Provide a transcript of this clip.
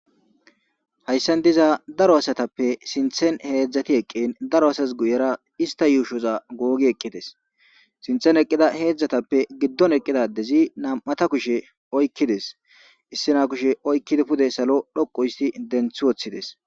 hayssan diza daro asatappe sinthen heedzdzati eqqin daro asas guyera ista yuushoza googi eqqides sinthen eqqida heedzdzatappe giddon eqqidadezi nam7ata kushe oykkides issina kushe oykkidi pude salo dhoqu isti denthi woththides